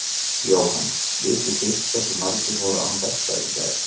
Jóhann: Vitið þið hversu margir voru án belta í gær?